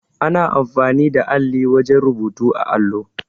Ana amfani da alli wajen rubutu á allo.